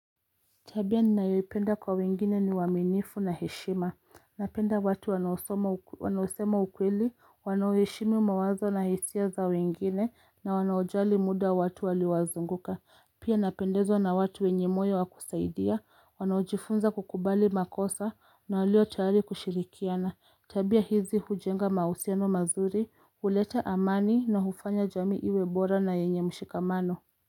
Tabia ninayoipenda kwa wengine ni waminifu na heshima, napenda watu wanaosema ukweli, wanao heshimu mawazo na hisia za wengine, na wanaojali muda wa watu waliozunguka, pia napendezwa na watu wenye moyo wa kusaidia, wanaojifunza kukubali makosa, na walio tayari kushirikiana, tabia hizi hujenga mausiano mazuri, uleta amani na hufanya jami iwebora na yenye mshikamano.